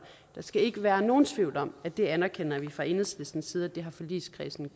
skal ikke være nogen tvivl om at det anerkender vi fra enhedslistens side at forligskredsen